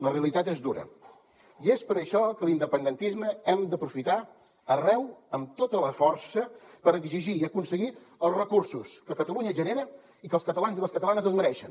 la realitat és dura i és per això que l’independentisme hem d’aprofitar arreu amb tota la força per exigir i aconseguir els recursos que catalunya genera i que els catalans i les catalanes es mereixen